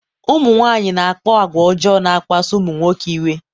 ụmụ nwanyị na-akpa àgwà ọjọọ na-akpasu ụmụ nwoke iwe